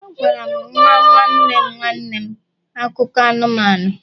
Agwara m nwa nwanne nwanne m akụkọ anụmanụ